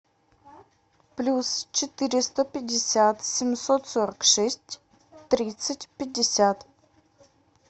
плюс четыреста пятьдесят семьсот сорок шесть тридцать пятьдесят